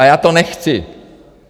A já to nechci.